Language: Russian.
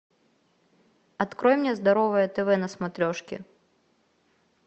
открой мне здоровое тв на смотрешке